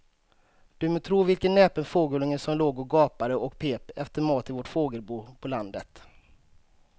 Du må tro vilken näpen fågelunge som låg och gapade och pep efter mat i vårt fågelbo på landet.